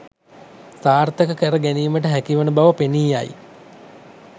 සාර්ථක කර ගැනීමට හැකිවන බව පෙනී යයි